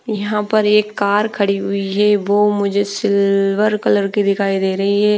यहाँ पर एक कार खड़ी हुई है वो मुझे सिल्वर कलर की दिखाई दे रही है ।